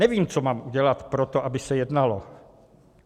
Nevím, co mám udělat pro to, aby se jednalo.